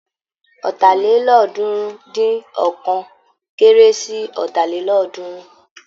Ọ̀tàlélọ́ọ̀ọ́dúnrún-dín-ọ̀kan kéré sí Ọ̀tàlélọ́ọ̀ọ́dúnrún.